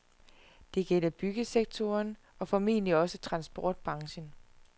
Det gælder byggesektoren og formentlig også transportbranchen.